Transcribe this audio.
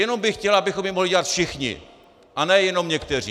Jenom bych chtěl, abychom ji mohli dělat všichni a ne jenom někteří.